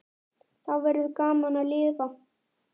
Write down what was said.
Þá verður gaman að lifa.